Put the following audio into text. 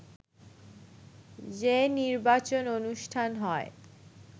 যে নির্বাচন অনুষ্ঠান হয়